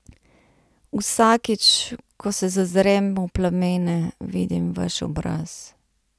Vsakič, ko se zazrem v plamene, vidim vaš obraz.